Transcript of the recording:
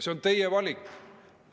See on teie valik.